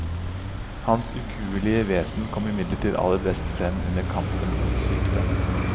Hans ukuelige vesen kom imidlertid aller best frem under kampen mot sykdommen.